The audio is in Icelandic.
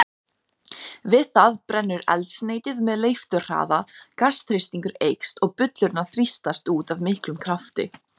Er með vinnustofu í Kópavogi.